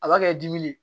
A b'a kɛ dimi de